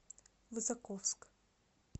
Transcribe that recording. высоковск